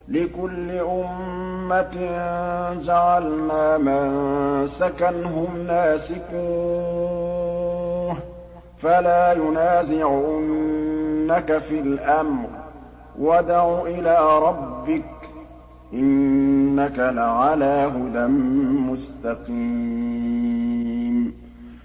لِّكُلِّ أُمَّةٍ جَعَلْنَا مَنسَكًا هُمْ نَاسِكُوهُ ۖ فَلَا يُنَازِعُنَّكَ فِي الْأَمْرِ ۚ وَادْعُ إِلَىٰ رَبِّكَ ۖ إِنَّكَ لَعَلَىٰ هُدًى مُّسْتَقِيمٍ